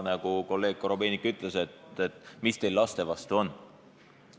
Nagu kolleeg Korobeinik ütles, et mis teil laste vastu on.